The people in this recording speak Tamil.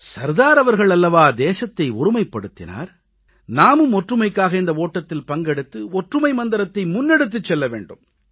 சர்தார் அவர்கள் அல்லவா தேசத்தை ஒருமைப்படுத்தினார் நாமும் ஒற்றுமைக்காக இந்த ஓட்டத்தில் பங்கெடுத்து ஒற்றுமை மந்திரத்தை முன்னெடுத்துச் செல்ல வேண்டும்